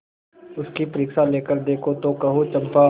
उसकी परीक्षा लेकर देखो तो कहो चंपा